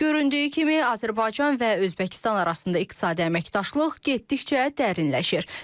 Göründüyü kimi, Azərbaycan və Özbəkistan arasında iqtisadi əməkdaşlıq getdikcə dərinləşir.